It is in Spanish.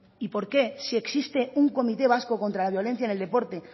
y por qué si existe un comité vasco contra la violencia en el deporte